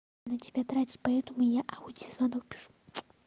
на тебя тратить поэтому я аудио звонок пишу